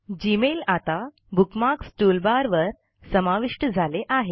Gmail आता bookmarks टूलबारवर समाविष्ट झाले आहे